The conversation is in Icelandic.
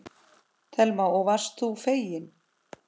Telma: Og varst þú feginn?